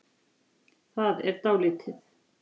Það er dálítið.